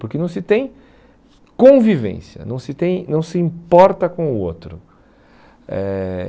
Porque não se tem convivência, não se tem não se importa com o outro. Eh